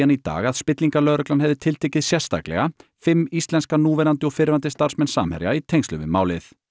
Namibian í dag að spillingarlögreglan hefði tiltekið sérstaklega fimm íslenska núverandi og fyrrverandi starfsmenn Samherja í tengslum við málið